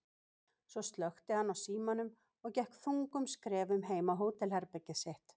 Svo slökkti hann á símanum og gekk þungum skrefum heim á hótelherbergið sitt.